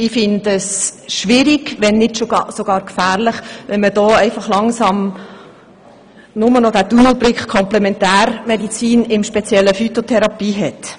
Ich finde es daher schwierig, wenn nicht gar bereits gefährlich, wenn man hier einfach langsam nur noch den Tunnelblick Komplementärmedizin und im speziellen Phytotherapie hat.